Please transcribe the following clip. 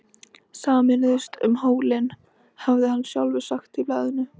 Sameinumst um hólinn, hafði hann sjálfur sagt í blaðinu.